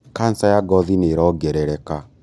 Kanca ya ngothi nĩĩrongerereka.